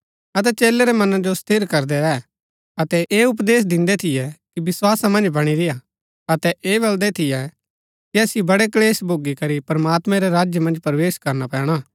अतै चेलै रै मना जो स्थिर करदै रैह अतै ऐह उपदेश दिन्दै थियै कि विस्‍वासा मन्ज बणी रेय्आ अतै ऐह बलदै थियै कि असिओ बड़े क्‍लेश भोगी करी प्रमात्मैं रै राज्य मन्ज प्रवेश करना पैणा